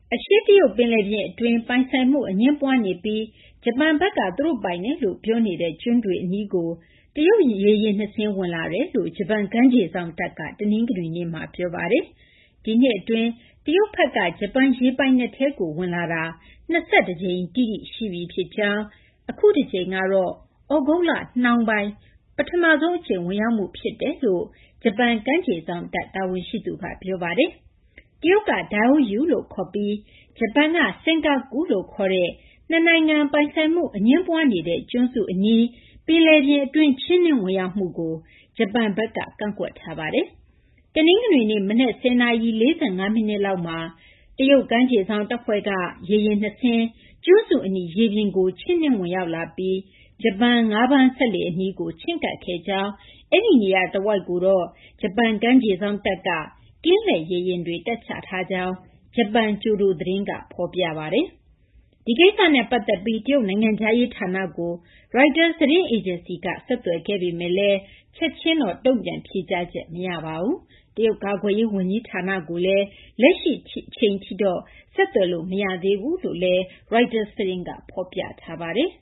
အရှေ့တရုတ်ပင်လယ်ပြင် အတွင်းက ပိုင်ဆိုင်မှု အငြင်းပွားနေပြီး ဂျပန်ဘက်က သူတို့ပိုင်တယ်လို့ ပြောထားတဲ့ ကျွန်းတွေအနီးကို တရုတ်ရေယာဉ် ၂ စင်း ဝင်လာတယ်လို့ ဂျပန် ကမ်းခြေစောင့်တပ်က တနင်္ဂနွေနေ့မှာ ပြောပါတယ်။ ဒီနှစ်အတွင်း တရုတ်ဘက်က ဂျပန်ရေပိုင်နက်ထဲကို ဝင်လာတာ ၂၁ ကြိမ်တိတိ ရှိပြီဖြစ်ကြောင်း၊ အခုတကြိမ်ကတော့ သြဂုတ်လနှောင်းပိုင်း ပထမဆုံးအကြိမ် ဝင်ရောက်မှုဖြစ်ကြောင်း ဂျပန် ကမ်းခြေစောင့်တပ် တာဝန်ရှိသူက ပြောပါတယ်။ တရုတ်က Diaoyu လို့ခေါ်ပြီး ဂျပန်က Senkaku လို့ခေါ်တဲ့ နှစ်နိုင်ငံပိုင်ဆိုင်မှု အငြင်းပွားနေတဲ့ ကျွန်းစုအနီး ပင်လယ်ပြင်အတွင်း ချဉ်းနင်းဝင်ရောက်မှုကို ဂျပန်ဘက်က ကန့်ကွက်ထားပါတယ်။ တနင်္ဂနွေနေ့ မနက် ၁၀ နာရီ ၄၅ မိနစ်လောက်မှာ တရုတ် ကမ်းခြေစောင့်တပ်ဖွဲ့က ရေယာဉ် ၂ စင်းက ကျွန်းစုအနီး ရေပြင်ကို ချဉ်းနင်းဝင်ရောက်လာပြီး ဂျပန် ငါးဖမ်းစက်လှေအနီးကို ချဉ်းကပ်ခဲ့ကြောင်း၊ အဲဒီနေရာတဝိုက်ကို ဂျပန် ကမ်းခြေစောင့်တပ်က ကင်းလှည့်ရေယာဉ်တွေ တပ်ချထားကြောင်း ဂျပန် ကျိုဒိုသတင်းက ဖော်ပြပါတယ်။ ဒီကိစ္စနဲ့ပတ်သက်ပြီး တရုတ်နိုင်ငံခြားရေးဌာနကို ရိုက်တာ သတင်းအေဂျင်စီက ဆက်သွယ်ခဲ့ပေမယ့်လည်း တုံ့ပြန်ဖြေကြားချက် မရသေးပါဘူး။ တရုတ် ကာကွယ်ရေးဝန်ကြီးဌာနကိုလည်း လက်ရှိမှာတော့ ဆက်သွယ်လို့ မရသေးကြောင်း ရိုက်တာသတင်းက ဖော်ပြထားပါတယ်